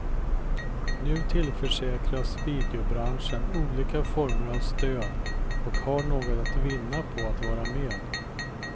Nu tillförsäkras videobranschen olika former av stöd och har något att vinna på att vara med.